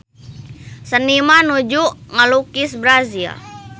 Seniman nuju ngalukis Brazil